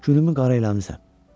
Günümü qara eləmisən.